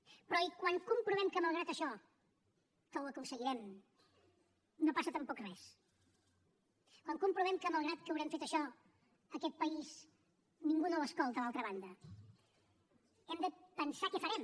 però quan comprovem que malgrat això que ho aconseguirem no passa tampoc res quan comprovem que malgrat que haurem fet això aquest país ningú no l’escolta a l’altra banda hem de pensar què farem